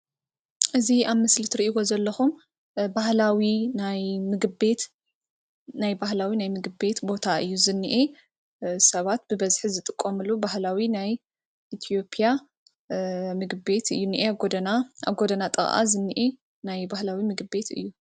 እዚ ኣብ ምስሊ ትሪእይዎ ዘለኩም ባህላዊ ናይ ምግቢ ቤት ቦታ እዩ ዝንሄ ሰባት ብ በዝሒ ዝጥቀምሉ ባህላዊ ናይ ኢትዮጵያ ምግቢ ቤት እዩ ዝንሄ ኣብ ጎደና ጥቃ ዝንሄ ናይ ባህላዊ ምግቢ ቤት እዩ::